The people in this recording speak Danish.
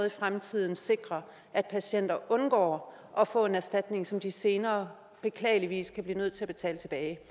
i fremtiden sikrer at patienter undgår at få en erstatning som de senere beklageligvis kan blive nødt til at betale tilbage